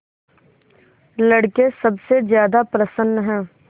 लड़के सबसे ज्यादा प्रसन्न हैं